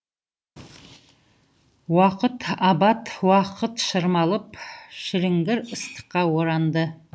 уақыт абат уақыт шырмалып шіліңгір ыстыққа оранды